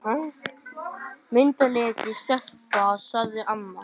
Myndarleg stelpa, sagði amma.